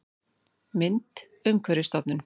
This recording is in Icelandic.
Mynd: Umhverfisstofnun